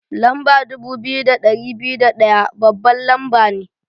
Lamba dubu biyu da ɗari biyu da ɗaya babban lamba ne.